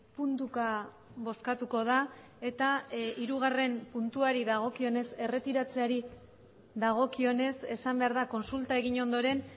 puntuka bozkatuko da eta hirugarren puntuari dagokionez erretiratzeari dagokionez esan behar da kontsulta egin ondoren